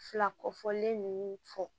Fila kɔfɔlen ninnu fɔ